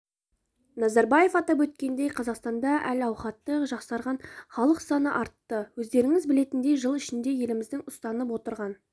назарбаев атап өткендей қазақстанда әл-аухаты жақсарған халық саны артты өздеріңіз білетіндей жыл ішінде еліміздің ұстанып отырған